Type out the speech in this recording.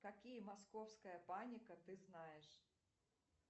какие московская паника ты знаешь